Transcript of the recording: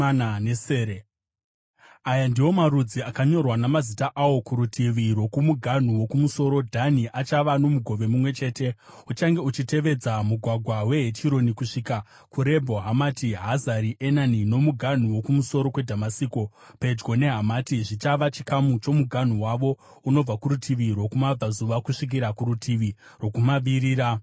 “Aya ndiwo marudzi akanyorwa, namazita awo: “kurutivi rwokumuganhu wokumusoro, Dhani achava nomugove mumwe chete; uchange uchitevedza mugwagwa weHetironi kusvika kuRebho Hamati; Hazari Enani nomuganhu wokumusoro kweDhamasiko, pedyo neHamati, zvichava chikamu chomuganhu wavo unobva kurutivi rwokumabvazuva kusvikira kurutivi rwokumavirira.